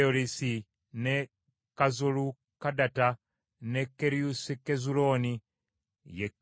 n’e Kazolukadatta, n’e Keriosukezulooni, ye Kazoli,